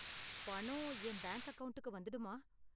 பணம் என் பேங்க் அக்கவுண்ட்க்கு வந்துடுமா?